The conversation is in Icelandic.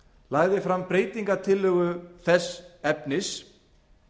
lagði fram breytingartillögu þess efnis